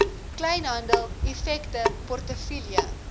kleinhandel effekte portefeulje